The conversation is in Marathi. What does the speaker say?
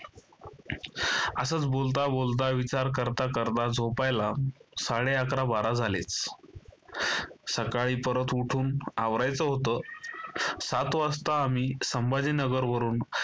असच बोलता-बोलता विचार करता करता झोपायला साडे अकरा बारा झाले. सकाळी परत उठून आवरायचं होतं. सात वाजता आम्ही संभाजीनगर वरून